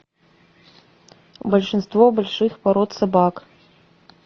большинство больших пород собак